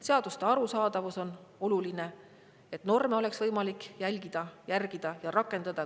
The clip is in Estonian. Seaduste arusaadavus on oluline, et norme oleks võimalik järgida ja rakendada.